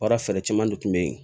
Baara fɛɛrɛ caman de tun bɛ yen